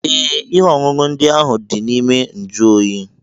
Ee, ihe ọṅụṅụ ndị ahụ dị na ime njuoyi.